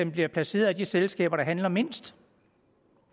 bliver placeret i de selskaber der handler mindst